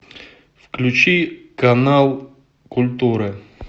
включи канал культура